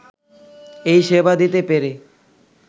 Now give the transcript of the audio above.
এই সেবা দিতে পেরে